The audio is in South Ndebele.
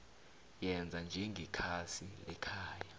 yenza njengekhasi lekhaya